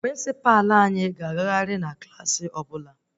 Prịnsịpa anyị ga-agagharị na Klassị ọbụla